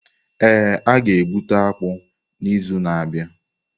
Ee, a ga-egbute akpu n’izu na-abịa.